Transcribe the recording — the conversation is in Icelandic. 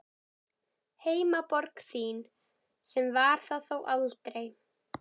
Heimaborg þín, sem var það þó aldrei.